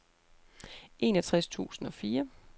enogtres tusind og fire